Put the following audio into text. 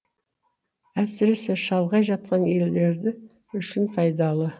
әсіресе шалғай жатқан елдерді үшін пайдалы